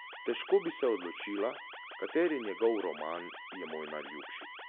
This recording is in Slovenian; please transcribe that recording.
Težko bi se odločila, kateri njegov roman je moj najljubši.